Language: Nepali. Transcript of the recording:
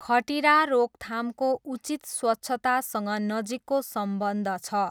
खटिरा रोकथामको उचित स्वच्छतासँग नजिकको सम्बन्ध छ।